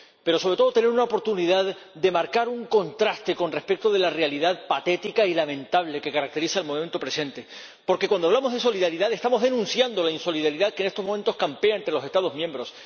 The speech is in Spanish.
Pero, sobre todo, merece tener una oportunidad de marcar un contraste con respecto de la realidad patética y lamentable que caracteriza el momento presente, porque, cuando hablamos de solidaridad, estamos denunciando la insolidaridad que en estos momentos campea entre los Estados miembros.